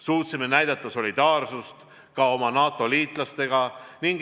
Suutsime näidata solidaarsust ka oma NATO-liitlastega.